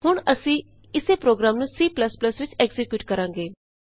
ਹੁਣ ਅਸੀਂ ਇਸੇ ਪ੍ਰੋਗਰਾਮ ਨੂੰ C ਵਿਚ ਐਕਜ਼ੀਕਿਯੂਟ ਕਰਾਂਗੇ